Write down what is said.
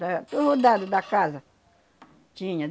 Da, do rodado da casa tinha.